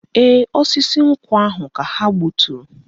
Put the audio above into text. Ee, osisi nkwụ ahụ ka ha gbuturu